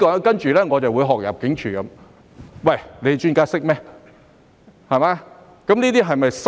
在此，讓我學入境處那樣說：專家懂經濟嗎？